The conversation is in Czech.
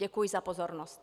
Děkuji za pozornost.